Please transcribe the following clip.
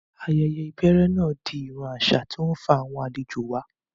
Bẹ́ẹ̀ni, ayẹyẹ ìbẹ̀rẹ̀ náà di ìran àṣà tí ó ń fa àwọn àlejò wá